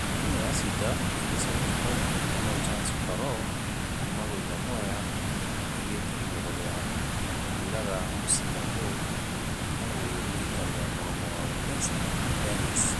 Timũ ya cider ĩgĩcokia hau, nũ chance oloo ....kuuma gwe nyamweya ĩgĩthie igũrũ ria ......kamũira ga muchira gũ.....kuuma gwe mũikaria mũromo wa wepesi dennis.